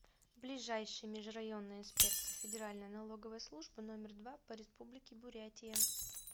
ближайший межрайонная инспекция федеральной налоговой службы номер два по республике бурятия